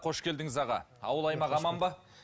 қош келдіңіз аға ауыл аймақ аман ба